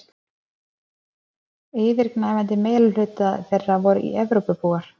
yfirgnæfandi meirihluti þeirra voru evrópubúar